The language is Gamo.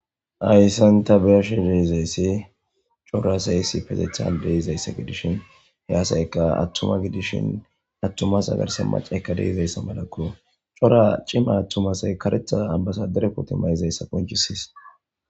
Haysan ta be'ashe se'izays cora asay issipetetan de'izaysa gidishn he asayka atuma gidishn atuma asa garsan mac'atika de'izaysa malako . Cora cima atuma asay karetha ambassadore mayidaysa qoncisis.